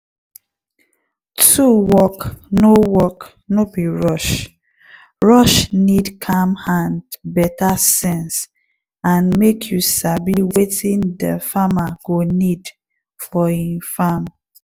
tool work no work no be rush-rushe need calm hand beta sense and make you sabi wetin de farmer go need for e farm.